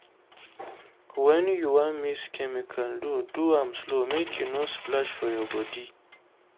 when you wan mix chemical do do am slow make e no splash for your body.